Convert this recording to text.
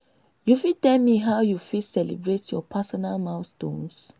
you fit tell me how you fit celebrate your personal milestones?